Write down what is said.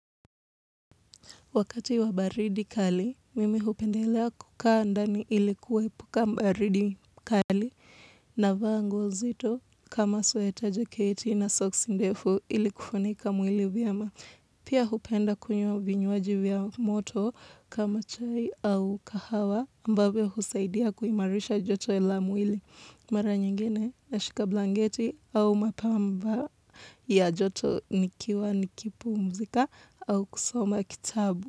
Wakati wa baridi kali, mimi hupendelea kukaa ndani ilikuepuka baridi kali navaa nguo nzito kama sweater jaketi na socks ndefu ilikufunika mwili vyema. Pia hupenda kunywa vinywaji vya moto kama chai au kahawa ambavyo husaidia kuimarisha joto la mwili mara nyingine na shika blanketi au mapamba ya joto nikiwa nikipumzika au kusoma kitabu.